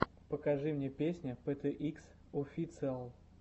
покажи мне песня пэ тэ икс официал